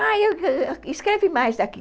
Ah, escreve mais daqui.